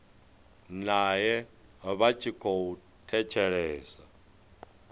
nae vha tshi khou thetshelesa